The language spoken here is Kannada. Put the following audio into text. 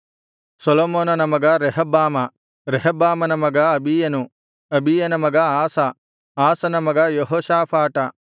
ಸೊಲೊಮೋನನ ಮಗ ರೆಹಬ್ಬಾಮ ರೆಹಬ್ಬಾಮನ ಮಗ ಅಬೀಯನು ಅಬೀಯನ ಮಗ ಆಸ ಆಸನ ಮಗ ಯೆಹೋಷಾಫಾಟ